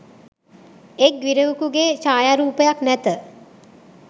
එක් ගිරවකුගේ ඡායාරූපයක් නැත